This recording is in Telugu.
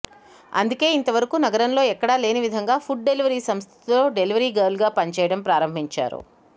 అందుకే ఇంతవరకూ నగరంలో ఎక్కడా లేని విధంగా ఫుడ్ డెలివరీ సంస్థలో డెలివరీ గర్ల్గా పనిచేయడం ప్రారంభించారు